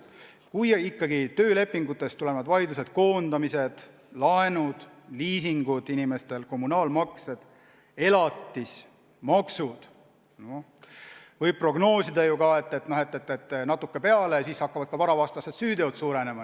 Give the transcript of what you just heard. Kui ikkagi kasvab töölepingutest tulenevate vaidluste arv, pluss kõik need teemad – koondamised, laenud, liisingud, kommunaalmaksed, elatisraha, maksud –, siis võib ju prognoosida ka, et natukese aja pärast hakkab suurenema varavastaste süütegude arv.